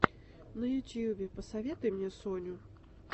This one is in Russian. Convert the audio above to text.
на ютьюбе посоветуй мне соню